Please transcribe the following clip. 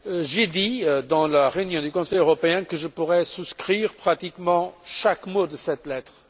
J'ai dit lors de la réunion du Conseil européen que je pourrais souscrire à pratiquement chaque mot de cette lettre.